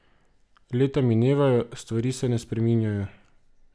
Leta minevajo, stvari se spreminjajo.